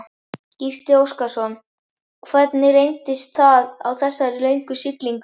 Gísli Óskarsson: Hvernig reyndist það á þessari löngu siglingu?